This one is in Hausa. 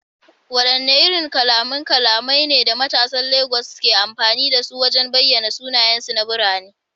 Wadanne irin kalaman kalamai ne da matasan Legas ke amfani da su wajen bayyana sunayensu na birane?